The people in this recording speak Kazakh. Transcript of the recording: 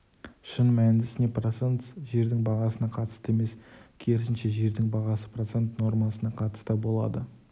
шын мәнісінде процент жердің бағасына қатысты емес керісінше жердің бағасы процент нормасына қатысты болады